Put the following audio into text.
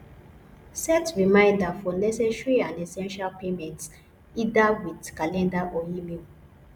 set reminder for necessary and essential payments either with calender or email